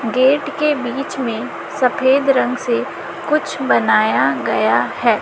Gate के बीच में सफेद रंग से कुछ बनाया गया है।